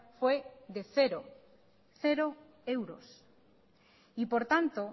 fue de cero cero euros y por tanto